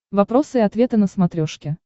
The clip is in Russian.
вопросы и ответы на смотрешке